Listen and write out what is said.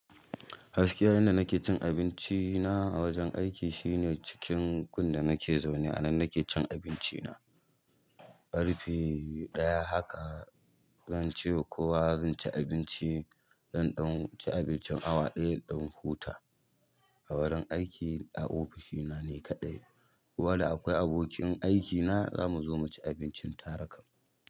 Gaskiya inda nake cin abinci na a wajen aiki shine cikin gun da nake zaune a nan nake cin abinci na. Ƙarfe ɗaya haka zan cewa kuwa zan ci abinci. Zan ɗan ci abincin awa ɗaya in dan huta a wurin aiki a ofishi na ne kaɗai. Ko da akwai abokin aikina zamu zo muci abincin tare kam.